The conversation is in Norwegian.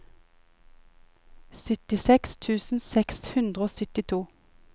syttiseks tusen seks hundre og syttito